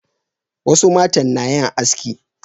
wasu matan na yin haski